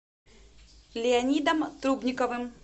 леонидом трубниковым